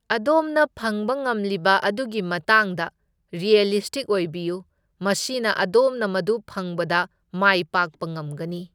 ꯑꯗꯣꯝꯅ ꯐꯪꯕ ꯉꯝꯂꯤꯕ ꯑꯗꯨꯒꯤ ꯃꯇꯥꯡꯗ ꯔꯤꯑꯦꯂꯤꯁꯇꯤꯛ ꯑꯣꯏꯕꯤꯌꯨ, ꯃꯁꯤꯅ ꯑꯗꯣꯝꯅ ꯃꯗꯨ ꯐꯪꯕꯗ ꯃꯥꯢ ꯄꯥꯛꯄ ꯉꯝꯒꯅꯤ꯫